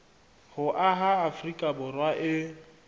ho aha afrika borwa e